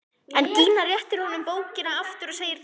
En Gína réttir honum bókina aftur og segir kalt: